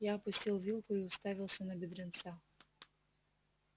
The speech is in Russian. я опустил вилку и уставился на бедренца